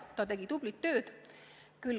Ta tegi tublit tööd.